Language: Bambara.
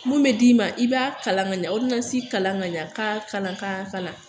Mun bɛ d'i ma, i b'a kalan ka ɲɛ kalan ka ɲɛ, ka kalan ka kalan.